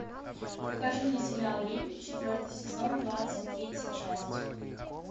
покажи мне сериал рим четвертый сезон двадцать третья часть